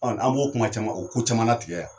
An b'o kuma caman o ko caman latigɛ yan;